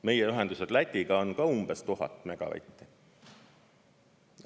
Meie ühendused Lätiga on ka umbes 1000 megavatti.